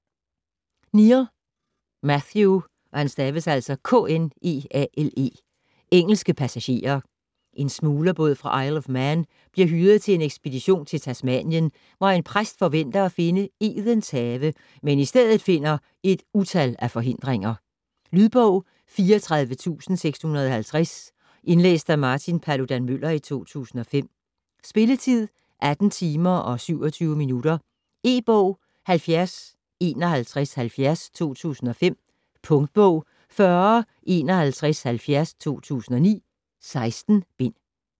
Kneale, Matthew: Engelske passagerer En smuglerbåd fra Isle of Man bliver hyret til en ekspedition til Tasmanien, hvor en præst forventer at finde Edens Have, men i stedet finder et utal af forhindringer. Lydbog 34650 Indlæst af Martin Paludan-Müller, 2005. Spilletid: 18 timer, 27 minutter. E-bog 705170 2005. Punktbog 405170 2009. 16 bind.